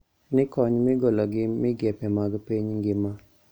Ni kony migolo gi migepe mag piny ngima